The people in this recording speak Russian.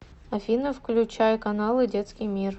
афина включай каналы детский мир